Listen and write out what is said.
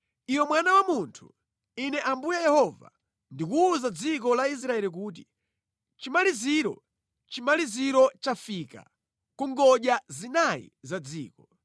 “Iwe mwana wa munthu, Ine Ambuye Yehova ndikuwuza dziko la Israeli kuti: “Chimaliziro! Chimaliziro chafika ku ngodya zinayi za dziko.